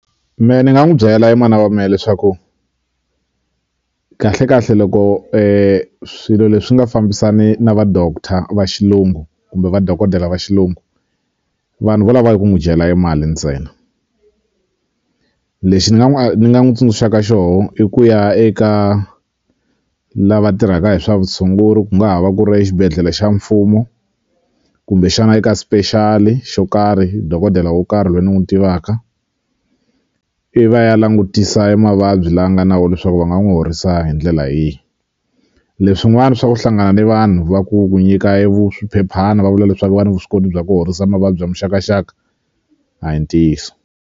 Me ni nga n'wu byela mana wa me leswaku kahle kahle loko swilo leswi nga fambisani na va doctor va xilungu kumbe vadokodela va xilungu vanhu vo lava eku n'wu dyela e mali ntsena lexi ni nga n'wu ni nga n'wu tsundzuxaka xoho i ku ya eka lava tirhaka hi swa vutshunguri ku nga ha va ku ri exibedhlele xa mfumo kumbexana eka special xo karhi dokodela wo karhi loyi ni n'wu tivaka ivi a ya langutisa e mavabyi la nga na wo leswaku va nga n'wu horisa hi ndlela yihi leswin'wani swa ku hlangana ni vanhu va ku ku nyika swiphephana va vula leswaku va ni vuswikoti bya ku horisa mavabyi ya muxakaxaka a hi ntiyiso.